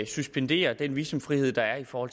suspendere den visumfrihed der er for